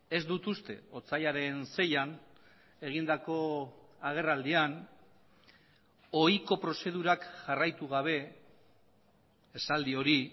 ez dut uste otsailaren seian egindako agerraldian ohiko prozedurak jarraitu gabe esaldi hori